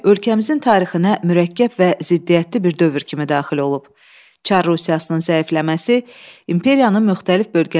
Çar Rusiyasının zəifləməsi, imperiyanın müxtəlif bölgələrində siyasi fəallığın artmasına, milli azadlıq hərəkatının güclənməsinə səbəb oldu.